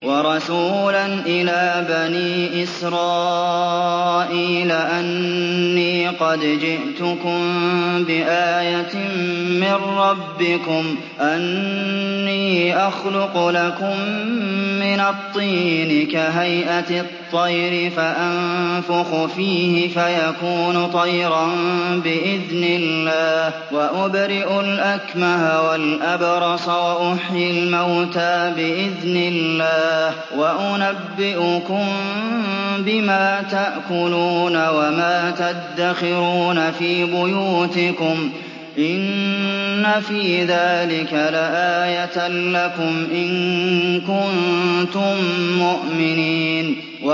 وَرَسُولًا إِلَىٰ بَنِي إِسْرَائِيلَ أَنِّي قَدْ جِئْتُكُم بِآيَةٍ مِّن رَّبِّكُمْ ۖ أَنِّي أَخْلُقُ لَكُم مِّنَ الطِّينِ كَهَيْئَةِ الطَّيْرِ فَأَنفُخُ فِيهِ فَيَكُونُ طَيْرًا بِإِذْنِ اللَّهِ ۖ وَأُبْرِئُ الْأَكْمَهَ وَالْأَبْرَصَ وَأُحْيِي الْمَوْتَىٰ بِإِذْنِ اللَّهِ ۖ وَأُنَبِّئُكُم بِمَا تَأْكُلُونَ وَمَا تَدَّخِرُونَ فِي بُيُوتِكُمْ ۚ إِنَّ فِي ذَٰلِكَ لَآيَةً لَّكُمْ إِن كُنتُم مُّؤْمِنِينَ